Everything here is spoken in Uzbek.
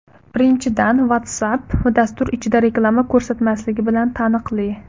Birinchidan, WhatsApp dastur ichida reklama ko‘rsatmasligi bilan taniqli.